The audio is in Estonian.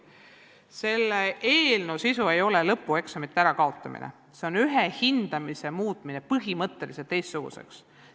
Selle eelnõu sisu ei ole lõpueksamite kaotamine, vaid ühe hindamisviisi muutmine põhimõtteliselt teistsuguseks.